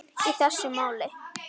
í þessu máli.